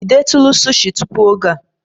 Ị detụrụ sushi tupu oge a?